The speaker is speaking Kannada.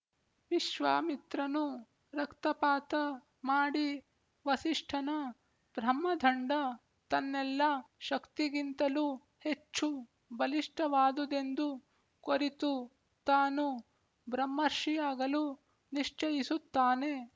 ವಿಶ್ವಾಮಿತ್ರನು ರಕ್ತಪಾತ ಮಾಡಿ ವಸಿಷ್ಠನ ಬ್ರಹ್ಮದಂಡ ತನ್ನೆಲ್ಲ ಶಕ್ತಿಗಿಂತಲೂ ಹೆಚ್ಚು ಬಲಿಷ್ಠವಾದುದೆಂದು ಕೊರಿತು ತಾನೂ ಬ್ರಹ್ಮರ್ಷಿಯಾಗಲು ನಿಶ್ಚಯಿಸುತ್ತಾನೆ